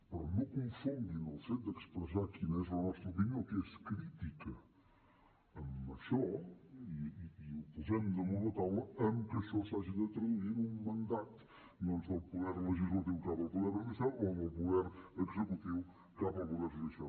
però no confonguin el fet d’expressar quina és la nostra opinió que és crítica amb això i ho posem damunt la taula amb que això s’hagi de traduir en un mandat doncs del poder legislatiu cap al poder judicial o del poder executiu cap al poder judicial